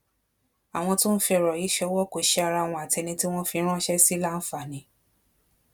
àwọn tó ń fi ọrọ yìí ṣọwó kò ṣe ara wọn àti ẹni tí wọn fi ránṣẹ sí láǹfààní